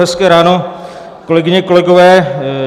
Hezké ráno, kolegyně, kolegové.